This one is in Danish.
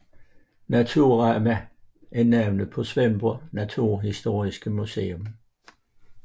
Naturama er navnet på Svendborgs naturhistoriske museum